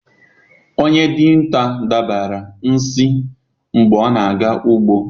Onye dinta dabara nsi mgbe ọ na-aga ugbo.